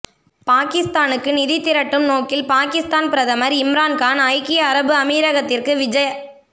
பாகிஸ்தானுக்கு நிதி திரட்டும் நோக்கில் பாகிஸ்தான் பிரதமர் இம்ரான் கான் ஐக்கிய அரபு அமீரகத்திற்கு விஜ